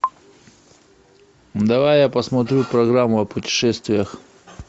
давай я посмотрю программу о путешествиях